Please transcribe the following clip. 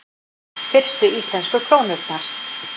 Fyrstu íslensku krónurnar: